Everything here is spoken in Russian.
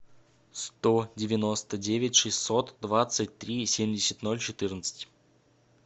сто девяносто девять шестьсот двадцать три семьдесят ноль четырнадцать